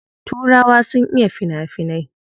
Turawa sun iya fina finai.